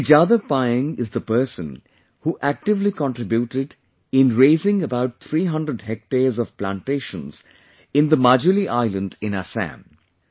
Shri Jadav Payeng is the person who actively contributed in raising about 300 hectares of plantations in the Majuli Island in Assam